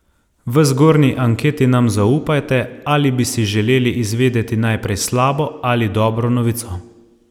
V zgornji anketi nam zaupajte, ali bi si želeli izvedeti najprej slabo ali dobro novico.